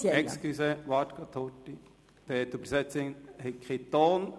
Entschuldigung, bitte warten Sie einen Moment, die Dolmetscherin hat keinen Ton.